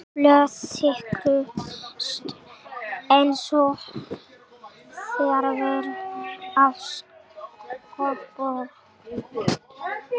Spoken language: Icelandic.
Blöð þyrluðust einsog fjaðrir af skrifborðinu og blýantar skutust niður á gólf.